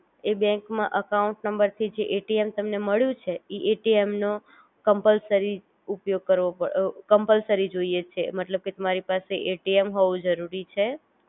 એ bank માં account નંબરથી મળુ છે